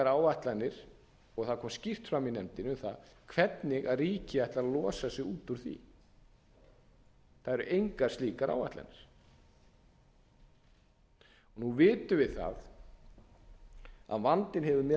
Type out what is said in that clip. áætlanir og það kom skýrt fram í nefndinni um það hvernig ríkið ætlar að losa sig út úr því það eru engar slíkar áætlanir nú vitum við það að vandinn hefur